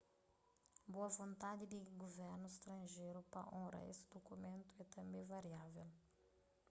boa vontandi di guvernus stranjeru pa onra es dukumentu é tanbê variável